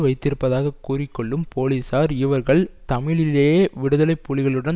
வைத்திருப்பதாக கூறிக்கொள்ளும் போலிசார் இவர்கள் தமிழீழ விடுதலை புலிகளுடன்